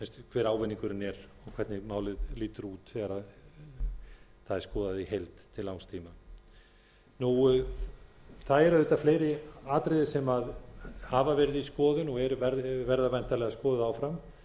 hver ávinningurinn er og hvernig málið lítur út þegar það er skoðað í heild til langs tíma það eru auðvitað fleiri atriði sem hafa verið í skoðun og verða væntanlega skoðuð áfram